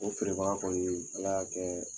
O feere baga kɔni , ala y'a kɛ